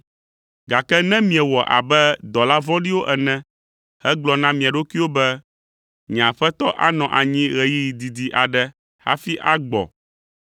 “Gake ne miewɔ abe dɔla vɔ̃ɖiwo ene hegblɔ na mia ɖokuiwo be, ‘Nye Aƒetɔ anɔ anyi ɣeyiɣi didi aɖe hafi agbɔ,’